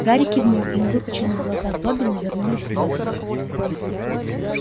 гарри кивнул и на выпученных глазах добби навернулись слезы